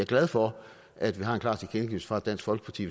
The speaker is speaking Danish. glad for at vi har en klar tilkendegivelse fra dansk folkeparti